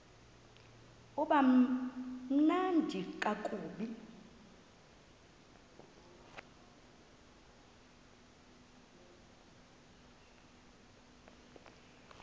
uba mnandi ngakumbi